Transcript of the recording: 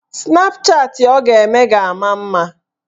Snapchatị ọ ga-eme ga-ama mma.